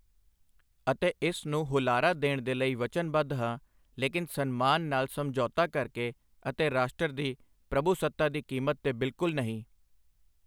ਅਤੇ ਇਸ ਨੂੰ ਹੁਲਾਰਾ ਦੇਣ ਦੇ ਲਈ ਵਚਨਬੱਧ ਹਾਂ, ਲੇਕਿਨ ਸਨਮਾਨ ਨਾਲ ਸਮਝੌਤਾ ਕਰਕੇ ਅਤੇ ਰਾਸ਼ਟਰ ਦੀ ਪ੍ਰਭੂਸੱਤਾ ਦੀ ਕੀਮਤ ਤੇ ਬਿਲਕੁਲ ਨਹੀਂ।